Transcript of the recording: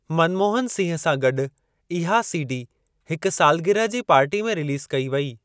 मनमोहन सिंह सां गॾु इहा सीडी हिक सालगिरह जी पार्टी में रिलीज़ कई वेई।